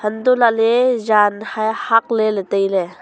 untoh lahley jan hae hak leley tailey.